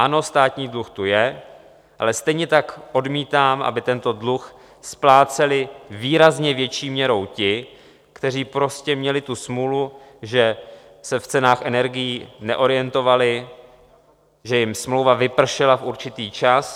Ano, státní dluh tu je, ale stejně tak odmítám, aby tento dluh spláceli výrazně větší měrou ti, kteří prostě měli tu smůlu, že se v cenách energií neorientovali, že jim smlouva vypršela v určitý čas.